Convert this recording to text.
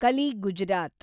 Kali, Gujarat